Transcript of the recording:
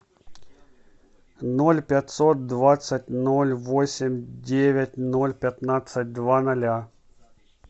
ноль пятьсот двадцать ноль восемь девять ноль пятнадцать два ноля